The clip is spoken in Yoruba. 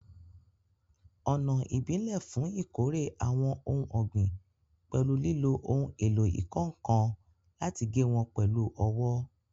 Ọ̀nà ìbílẹ̀ fún ìkórè àwọn ohun ọ̀gbìn pẹ̀lú lílo ohun èlò ìkọ́ nǹkan láti gé wọn pẹ̀lú ọwọ́